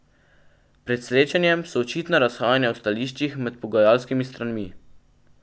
Pred srečanjem so očitna razhajanja v stališčih med pogajalskimi stranmi.